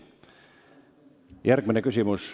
Järgmine küsimus.